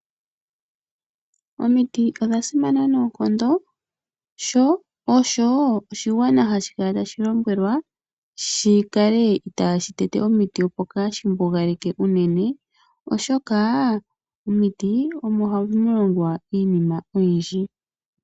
Omiti odha simana noonkondo sho osho oshigwana hashi kala tashi lombwelwa shikale itashi tete omiti, opo kashi mbugaleke unene oshoka momiti omo hamu longwa iinima oyindji.